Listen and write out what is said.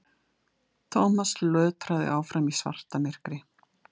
Thomas lötraði áfram í svartamyrkri.